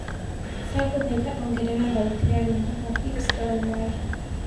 ndagũhaĩtha ongerera thaũtĩ ya rwĩmbo rwa hips don't lie